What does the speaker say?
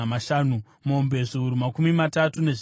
mombe zviuru makumi matatu, nezvitanhatu,